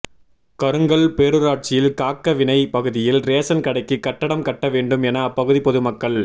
கருங்கல் பேரூராட்சியில் காக்கவிளை பகுதியில் ரேஷன் கடைக்கு கட்டடம் கட்ட வேண்டும் என அப்பகுதி பொதுமக்கள்